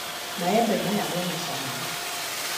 Maembe maya mena cama